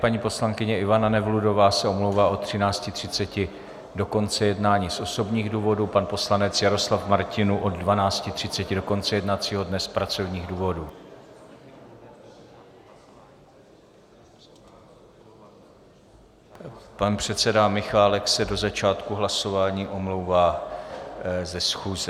Paní poslankyně Ivana Nevludová se omlouvá od 13.30 do konce jednání z osobních důvodů, pan poslanec Jaroslav Martinů od 12.30 do konce jednacího dne z pracovních důvodů, pan předseda Michálek se do začátku hlasování omlouvá ze schůze.